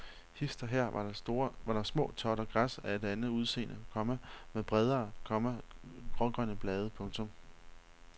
Hist og her var der små totter græs af et andet udseende, komma med bredere, komma grågrønne blade. punktum